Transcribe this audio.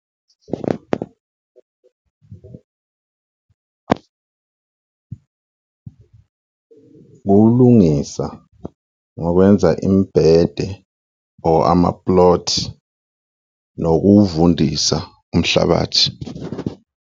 Ukulungisa ngokwenza imibhede or ama-plot nokuwuvundisa umhlabathi.